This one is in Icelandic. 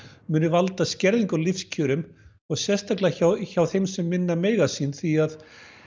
muni valda skerðingu á lífskjörum og sérstaklega hjá hjá þeim sem minna mega sín því að